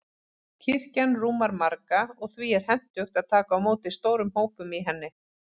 Kirkjan rúmar marga, og því er hentugt að taka á móti stórum hópum í henni.